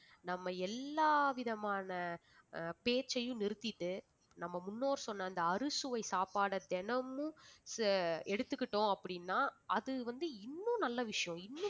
நம்ம எல்லாவிதமான ஆஹ் பேச்சையும் நிறுத்திட்டு நம்ம முன்னோர் சொன்ன அந்த அறுசுவை சாப்பாடை தினமும் ச~ எடுத்துக்கிட்டோம் அப்படின்னா அது வந்து இன்னும் நல்ல விஷயம்